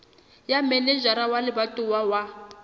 ya manejara wa lebatowa wa